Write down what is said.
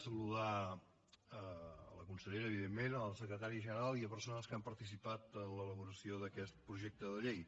saludar la consellera evidentment el secretari general i les persones que han participat en l’elaboració d’aquest projecte de llei